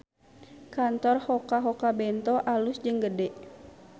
Kantor Hoka Hoka Bento alus jeung gede